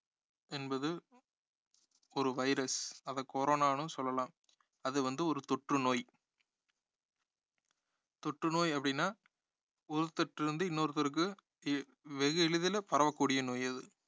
என்பது ஒரு virus அதை corona ன்னும் சொல்லலாம் அது வந்து ஒரு தொற்று நோய் தொற்று நோய் அப்படின்னா ஒருத்தர் கிட்ட இருந்து இன்னொருத்தருக்கு எ~ வெகு எளிதில பரவ கூடிய நோய் அது